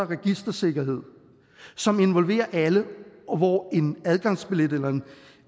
registersikkerhed som involverer alle og hvor en adgangsbillet eller